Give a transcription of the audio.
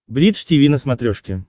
бридж тиви на смотрешке